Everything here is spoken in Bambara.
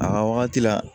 A ka wagati la